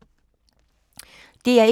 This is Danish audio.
DR1